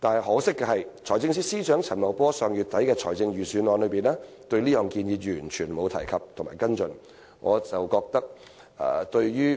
可惜，財政司司長陳茂波在上月底發表的預算案中，對此卻完全沒有提及或跟進。